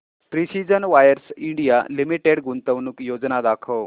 precision wires India limited गुंतवणूक योजना दाखव